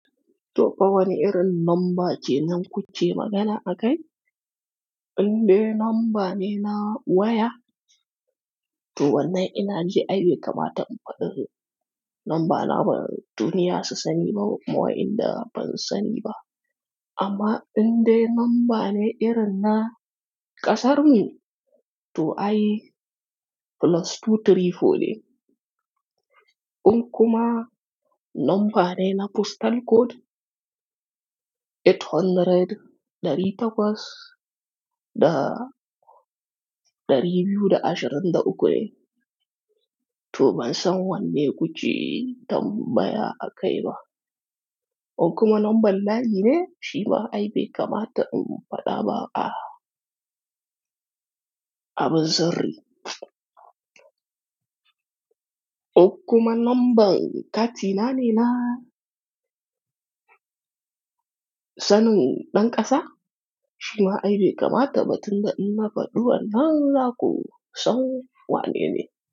To fa wani irin namba ke nan kuke magana a kai? Indai namba ne na waya, to wannan inaji ai bai kamata in faɗi namba na ba duniya su sani da kuma wa'inda ban sani ba amma indai namba ne irin na ƙasarmu, to ai +234 ne. In kuma namba ne na postal code, 800 ɗari takwas da ɗari biyu da ashirin da uku ne. To ban san wanne kuce tambaya a kai ba. In kuma lambar layi ne shi ma aibe kamata in faɗa ba a, abin sirri. In kuma lambar katina ne na sanin ɗan ƙasa, shi ma aibe kamata ba tun da in na faɗuwan nan, za ko son wane ne.